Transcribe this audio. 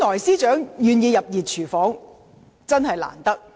司長願意加入"熱廚房"，原本真的很難得。